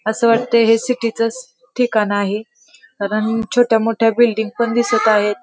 अस वाटतय हे सिटीचच ठिकाण आहे कारण छोट्या मोठ्या बिल्डिंग पण दिसत आहेत.